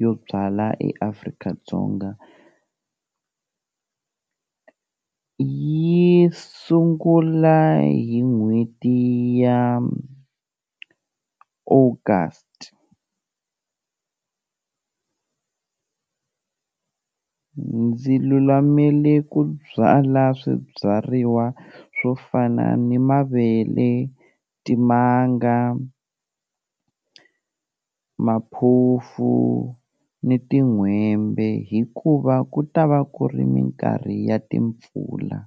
yo byala eAfrika-Dzonga yi sungula hi n'hweti ya August ndzi lulamele ku byala swibyariwa swo fana ni mavele, timanga, maphufu ni tin'hwembe, hikuva ku ta va ku ri minkarhi ya timpfula.